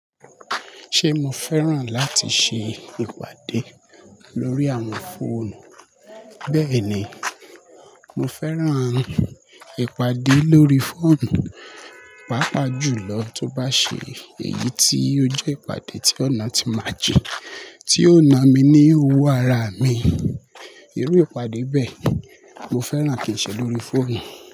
Ṣé mo fẹ́ràn láti ṣe ìpàdé lórí àwọn fóònù? Bẹ́ẹ̀ni, mo fẹ́ràn ìpàdé lórí fóònù, pàápàá jùlọ tó bá ṣe èyí tí ó jẹ́ ìpàdé tí ọ̀nà tí máa jẹ, tí ó na mi ní owó ara mi. Irú ìpàdé bẹ́ẹ̀ mo fẹ́ràn kí n ṣe lórí fóònù.